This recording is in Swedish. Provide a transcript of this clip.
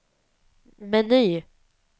meny